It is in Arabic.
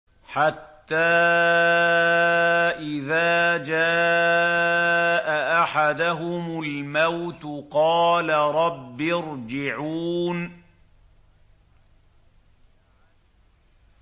حَتَّىٰ إِذَا جَاءَ أَحَدَهُمُ الْمَوْتُ قَالَ رَبِّ ارْجِعُونِ